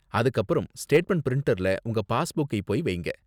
அதுக்கு அப்பறம் ஸ்டேட்மெண்ட் பிரிண்டர்ல உங்க பாஸ்புக்கை போய் வைங்க.